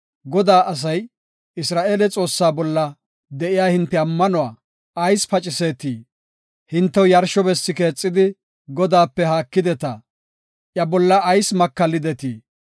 “Godaa asay, ‘Isra7eele Xoossaa bolla de7iya hinte ammanuwa ayis paciseetii? Hintew yarsho bessi keexidi, Godaape haakideta. Iya bolla ayis makallidetii?